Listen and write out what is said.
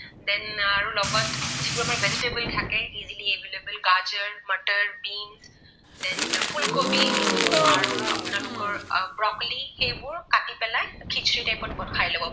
যিবোৰ আমাৰ vegetable থাকে easily available গাজৰ, মটৰ, বীন then ফুলকবি আৰু আপোনালোকৰ ব্ৰকলি সেইবোৰ কাটি পেলাই খিচিৰি type ত খাই লব পাৰে।